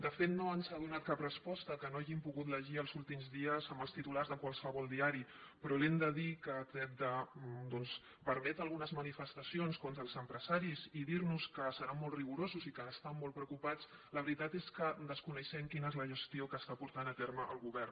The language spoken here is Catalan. de fet no ens ha donat cap resposta que no hàgim pogut llegir els últims dies en els titulars de qualsevol diari però li hem de dir que tret de doncs permetre algunes manifestacions contra els empresaris i dir nos que seran molt rigorosos i que estan molt preocupats la veritat és que desconeixem quina és la gestió que està portant a terme el govern